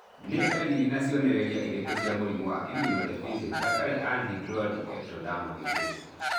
Nĩ ndariri na cionereria irĩkũ cia mũrimũ wa Immunodeficiency without anhidrotic ectodermal dysplasia?